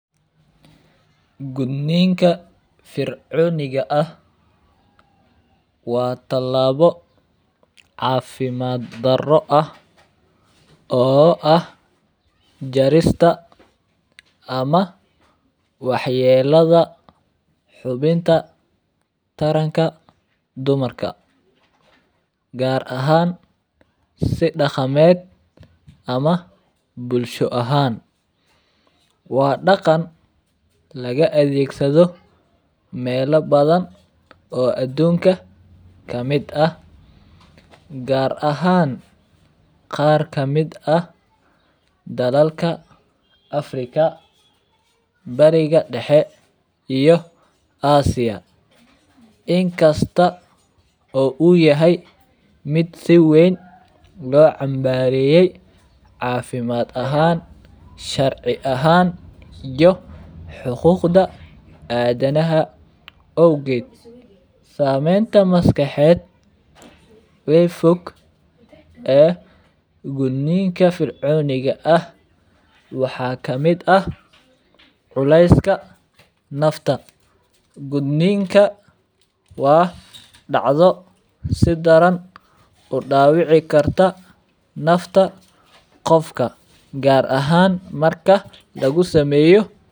Gudniinka fircooniga ah waa talaabo caafimad daro ah oo ah jarista ama waxyeeladha xubinta taranka dumarka gaar ahaan si daqameed ama bulsho ahaan. Waa daqan lagaadhegsadho mela badhan oo aduunka kamid ah gaar ahaan qaar kamid ah dalalka Africa bariga daxe iyo Asia. Inkasta oo uu yahy mid siweyn loocambareye caafimad ahaan sharci ahaan iyo xuquuda aadhanaha awgeed. Sameynta maskaxeed ee fog ee gudniinka fircooniga ah waxaa kamid ah culeyska nafta. Gudniinka waa dacdo sidaran udaawici karta nafta qofka gaar ahaan marki lagusameeyo...